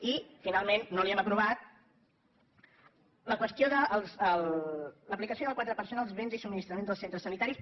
i finalment no li hem aprovat la qüestió de l’aplicació del quatre per cent als béns i subministraments dels centres sanitaris